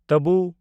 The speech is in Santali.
ᱛᱟᱵᱩ